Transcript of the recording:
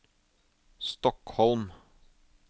Stockholm